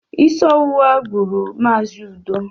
Isi ọwụwa gburu Mazi Udo